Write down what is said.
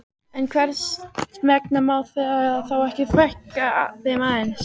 En hvers vegna má þá ekki fækka þeim aðeins?